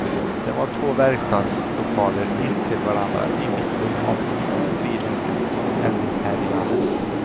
Det var två verkstadslokaler intill varandra i mitten av en industrilänga som eldhärjades.